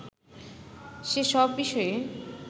সে-সব বিষয়ে